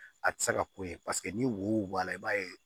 A tɛ se ka ko ye paseke ni wo bɔ la i b'a ye